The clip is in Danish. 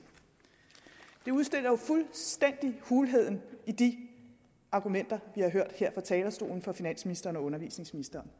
det udstiller jo fuldstændig hulheden i de argumenter vi har hørt her fra talerstolen fra finansministeren og undervisningsministeren